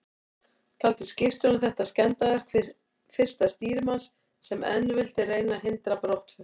Taldi skipstjórinn þetta skemmdarverk fyrsta stýrimanns, sem enn vildi reyna að hindra brottför.